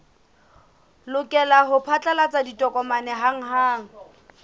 lokela ho phatlalatsa ditokomane hanghang